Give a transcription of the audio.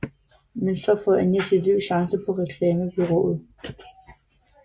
Men så får Anja sit livs chance på reklamebureauet